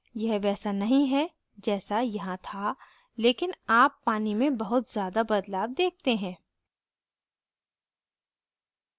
यह वैसा नहीं है जैस यहाँ था लेकिन आप पानी में बहुत ज़्यादा बदलाव देखते हैं